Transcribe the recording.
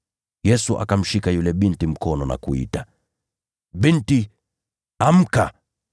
Yesu akamshika yule binti mkono na kuita, “Binti, amka!”